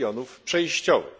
regionów przejściowych.